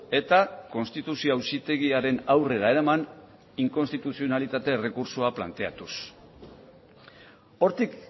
eta konstituzio auzitegiaren aurrera eraman inkonstituzionalitate errekurtsoa planteatuz hortik